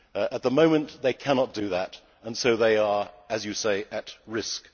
At the moment they cannot do that and so they are, as you say, at